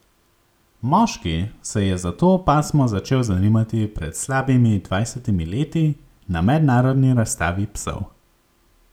Moški se je za to pasmo začel zanimati pred slabimi dvajsetimi leti na mednarodni razstavi psov.